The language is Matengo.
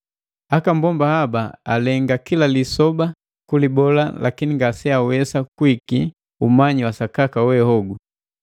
Akammbomba haba alenga kila lisoba kulibola lakini ngaseawesa kuiki umanyi wasakaka we hogu.